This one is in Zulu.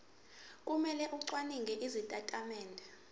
kumele acwaninge izitatimende